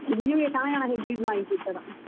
ଯେ କାଣା କାଣା ଫେର୍ gift ମାଗିଛେ ଇଥର?